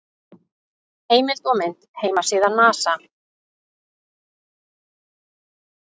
Heimild og mynd: Heimasíða NASA.